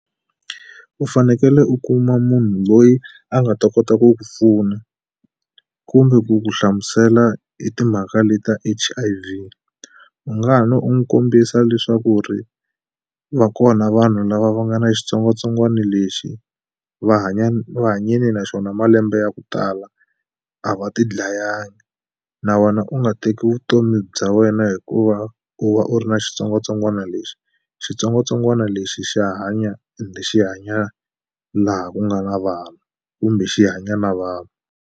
U fanekele u kuma munhu loyi a nga ta kota ku ku pfuna kumbe ku ku hlamusela hi timhaka le ta H_I_V u nga ha no u n'wi kombisa leswaku ri va kona vanhu lava va nga ni xitsongwatsongwani lexi va hanya ni va hanyini naxona malembe ya ku tala a va ti dlayanga na wena u nga teki vutomi bya wena hikuva u va u ri na xitsongwatsongwana lexi xitsongwatsongwana lexi xa hanya ende xi hanya laha ku nga na vanhu kumbe xi hanya na vanhu.